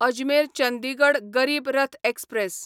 Ajmer Chandigarh Garib Rath express